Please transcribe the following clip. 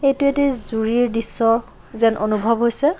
এইটো এটি জুৰিৰ দৃশ্য যেন অনুভৱ হৈছে।